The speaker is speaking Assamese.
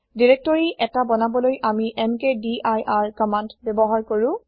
দিৰেক্তৰি ১টা বনাবলৈ আমি এমকেডিৰ কমান্দ ব্যৱহাৰ কৰো